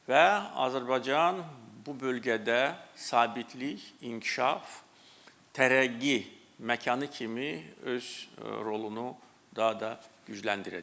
Və Azərbaycan bu bölgədə sabitlik, inkişaf, tərəqqi məkanı kimi öz rolunu daha da gücləndirəcəkdir.